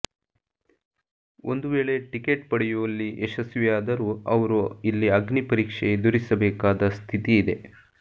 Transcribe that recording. ಒಂದು ವೇಳೆ ಟಿಕೆಟ್ ಪಡೆಯುವಲ್ಲಿ ಯಶಸ್ವಿಯಾದರೂ ಅವರು ಇಲ್ಲಿ ಅಗ್ನಿಪರೀಕ್ಷೆ ಎದುರಿಸಬೇಕಾದ ಸ್ಥಿತಿ ಇದೆ